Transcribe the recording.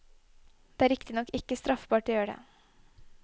Det er riktignok ikke straffbart å gjøre det.